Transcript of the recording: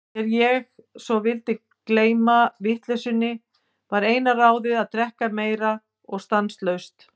Þegar ég svo vildi gleyma vitleysunni, var eina ráðið að drekka meira og stanslaust.